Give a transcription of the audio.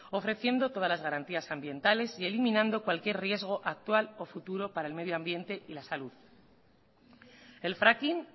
ofreciendo todas las garantías ambientales y eliminando cualquier riesgo actual o futuro para el medioambiente y la salud el fracking